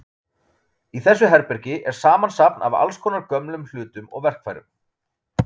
Í þessu herbergi er samsafn af allskonar gömlum hlutum og verkfærum.